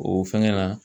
O fɛngɛ na